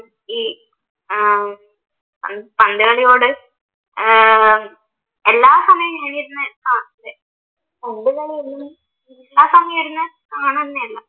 ഈ ഏർ പന്ത് കളിയോട് ഏർ എല്ലാ സമയവും